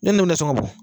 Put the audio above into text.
Ne n'u tɛ sɔn ka bɔ